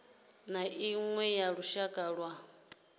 na iṅwe ya lushaka lwa